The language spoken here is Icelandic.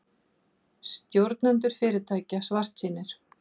Stjórnendur fyrirtækja svartsýnir